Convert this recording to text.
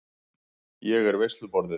Ég er veisluborðið.